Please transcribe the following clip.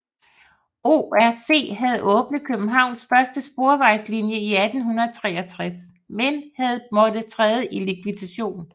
CRC havde åbnet Københavns første sporvejslinje i 1863 men havde måttet træde i likvidation